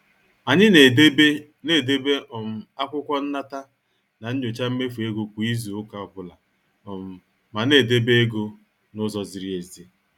Anyị na- edebe na- edebe um akwụkwọ nnata na nyocha mmefu ego kwa izu ụka ọbụla um mana e debe ego n' ụzọ ziri ezi.